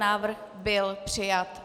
Návrh byl přijat.